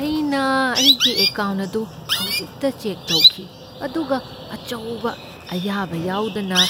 ꯑꯩꯅ ꯑꯩꯒꯤ ꯑꯦꯀꯥꯎꯟꯠ ꯑꯗꯨ ꯍꯧꯖꯤꯛꯇ ꯆꯦꯛ ꯇꯧꯈꯤ ꯑꯗꯨꯒ ꯑꯆꯧꯕ, ꯑꯌꯥꯕ ꯌꯥꯎꯗꯅ